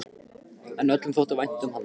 En öllum þótti vænt um hann.